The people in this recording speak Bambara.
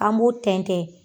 An m'o tɛntɛn.